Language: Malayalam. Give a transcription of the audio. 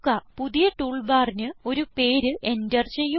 പുതിയ ടൂൾ ബാറിന് ഒരു പേര് എന്റർ ചെയ്യുക